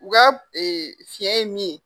U ka fiɲɛ ye min ye